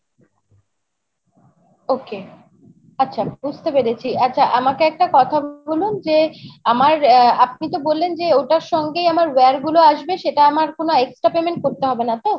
ok, আচ্ছা বুজতে পেরেছি আচ্ছা আমাকে একটা কথা বলুন যে আমার আ আপনি তো বললেন যে ওটার সঙ্গে আমার wire গুলো আসবে সেটা আমার কোনো extra payment করতে হবেনা তো?